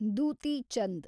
Duti Chand